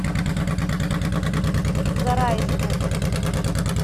зарайску